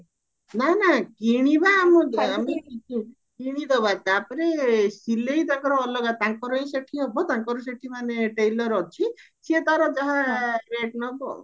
ନା ନା କିଣିବା କିଣିଦବା ତାପରେ ସିଲେଇ ତାଙ୍କର ଅଲଗା ତାଙ୍କର ଏଇ ସେଠି ହବ ତାଙ୍କର ସେଠି ମାନେ tailor ଅଛି ସିଏ ତାର ଯାହା rate ନବ ଆଉ